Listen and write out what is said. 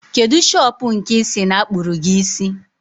Kedụ shopụ̀ nke i si na-akpụrụ gi isi?